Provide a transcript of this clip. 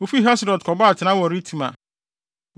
Wofii Haserot kɔbɔɔ atenae wɔ Ritma.